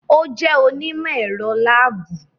O jẹ onimọ-ẹrọ laabu